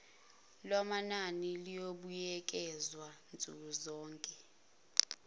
lwamanani luyobuyekezwa nsukuzonke